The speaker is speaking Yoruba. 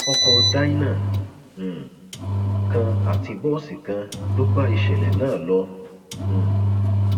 ọkọ dyna um kan àti bọọsì kan ló bá ìṣẹlẹ náà lọ um